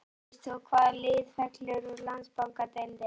Veist þú hvaða lið fellur úr Landsbankadeildinni?